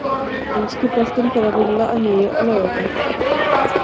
Enski boltinn fer að rúlla að nýju á laugardag.